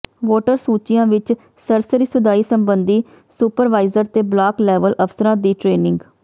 voter ਸੂਚੀਆਂ ਵਿਚ ਸਰਸਰੀ ਸੁਧਾਈ ਸਬੰਧੀ ਸੁਪਰਵਾਈਜ਼ਰ ਤੇ ਬਲਾਕ ਲੈਵਲ ਅਫ਼ਸਰਾਂ ਦੀ ਟਰੇਨਿੰਗ